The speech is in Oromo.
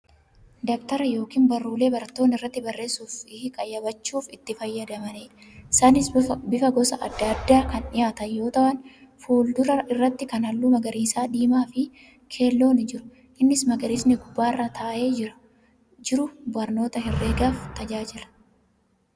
Dabtara yookiin barruulee barattoonni irratti barreessuu fi qayyabachuu itti fayyadamu. Isaanis bifa gosa adda addaan kan dhiyaatan yoo ta'an fuuldura irratti kan halluu magariisa, diimaa fi keelloon ni jiru. Inni magariisni gubbaarraa taa'ee jiru barnoota herreegaaf tajaajila.